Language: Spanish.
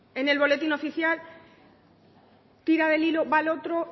en el boletín oficial tira del hilo va al otro